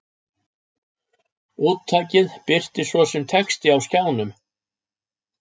Úttakið birtist svo sem texti á skjánum.